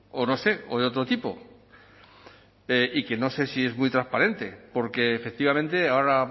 o no sé o de otro tipo y que no sé si es muy transparente porque efectivamente ahora